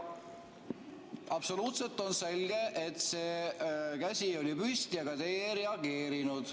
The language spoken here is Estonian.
Absoluutselt on selge, et käsi oli püsti, aga teie ei reageerinud.